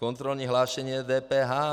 Kontrolní hlášení je DPH.